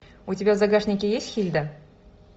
у тебя в загашнике есть хильда